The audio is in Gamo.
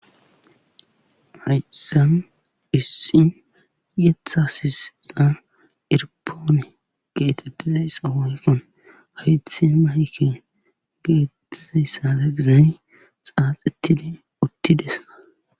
haysan issin yetha sisa irpoone geetettizayssa honkon haythe mayken geettizayssada gizani xaaxittide uttidesa